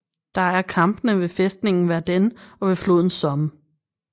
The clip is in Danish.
Der er kampene ved fæstningen Verden og ved floden Somme